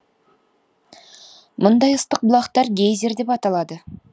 мұндай ыстық бұлақтар гейзер деп аталады